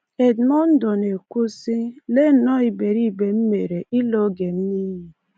Edmundo na-ekwu sị: “Lee nnọọ iberibe m mere ịla oge m n’iyi.”